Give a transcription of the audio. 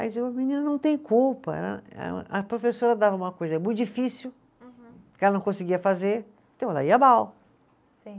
A menina não tem culpa, eh eh, a professora dava uma coisa muito difícil, que ela não conseguia fazer, então ela ia mal. Sim.